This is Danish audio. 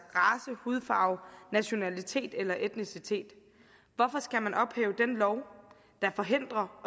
hudfarve nationalitet eller etnicitet hvorfor skal man ophæve den lov der forhindrer